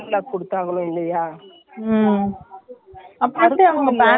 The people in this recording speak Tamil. அதுதாங்க பண்ணும்போது notclear pant எல்லாம் தச்சு போடுறாங்க lining கொடுத்துடுவாங்களோ மேல மட்டும்.